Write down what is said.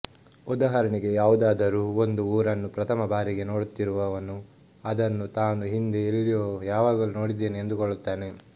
ಉದಾಹರಣೆಗೆ ಯಾವುದಾದರೂ ಒಂದು ಊರನ್ನು ಪ್ರಥಮ ಬಾರಿಗೆ ನೋಡುತ್ತಿರುವವನು ಅದನ್ನು ತಾನು ಹಿಂದೆ ಎಲ್ಲಿಯೋ ಯಾವಾಗಲೋ ನೋಡಿದ್ದೇನೆ ಎಂದುಕೊಳ್ಳುತ್ತಾನೆ